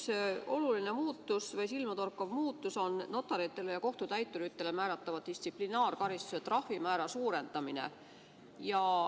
Üks oluline muudatus, silmatorkav muudatus on notaritele ja kohtutäituritele määratava distsiplinaarkaristuse trahvimäära suurendamine.